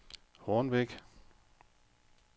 Hornbæk